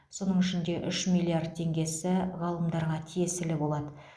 соның ішінде үш миллиард теңгесі ғалымдарға тиесілі болады